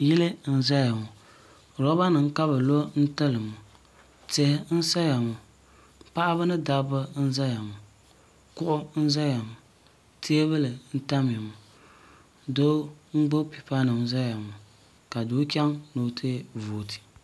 Yili n zaya ŋɔ loba nima ka bɛ lo n tili ŋɔ tihi n saya ŋɔ paɣaba n zaya ŋɔ kuɣu n zaya ŋɔ teebuli n tamya ŋɔ doo n gbibi pipa nima n zaya ŋɔ ka doo chaŋ ni o ti vooti.